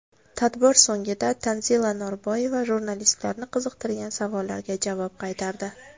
Tadbir so‘ngida Tanzila Norboyeva jurnalistlarni qiziqtirgan savollarga javob qaytardi.